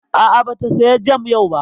A'a, ba ta saya jam yau ba